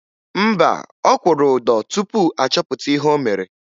Mba, ọ kwụrụ ụdọ tupu a chọpụta ihe o mere